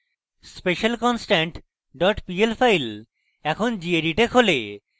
specialconstant dot pl file এখন gedit এ খোলে